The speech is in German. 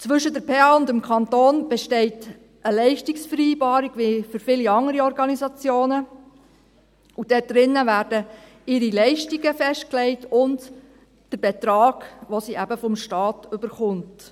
Zwischen der PH Bern und dem Kanton besteht eine Leistungsvereinbarung, wie für viele andere Organisationen, und darin werden ihre Leistungen und der Betrag, den sie eben vom Staat erhält, festgelegt.